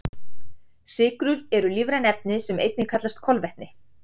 Sykrur eru lífræn efni sem einnig kallast kolvetni.